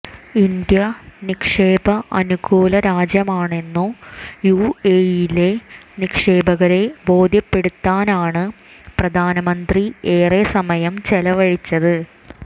India നിക്ഷേപ അനുകൂല രാജ്യമാണെന്നു യുഎഇയിലെ നിക്ഷേപകരെ ബോധ്യപ്പെടുത്താനാണ് പ്രധാനമന്ത്രി ഏറെസമയം ചെലവഴിച്ചത്